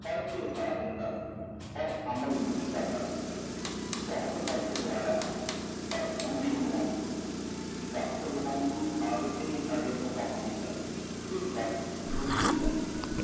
ਪੜ੍ਹ ਕੇ ਸਾਰ ਦਿੰਦਾ ਪਰ ਅਮਲ ਨਹੀਂ ਕਰਦਾ ਸੀ, ਬਹੁਤ ਵਕਤ ਗਵਾਇਆ ਹੈ ਪਰ ਹੁਣ ਨਹੀਂ ਗਵਾਉਣਾ, ਵਕਤ ਗਵਾਉਣ ਦੀ ਆਦਤ ਹੀ ਸਾਡੇ ਤੋਂ ਕਹਾਉਂਦੀ ਹੈ ਤੇ ਵਕਤ ਗੁਜ਼ਰੀ ਜਾਂਦੀ ਹੈ।